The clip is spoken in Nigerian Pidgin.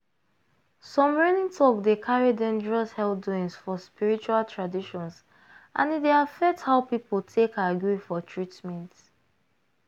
some reigning talk dey carry dangerous health doings for spiritual traditions and e dey affect how people take agree for treatment.